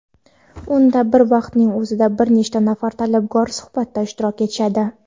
unda bir vaqtning o‘zida bir necha nafar talabgorlar suhbatda ishtirok etishadi.